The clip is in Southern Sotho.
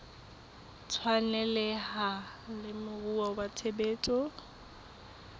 tshwaneleha le moruo wa tshebetso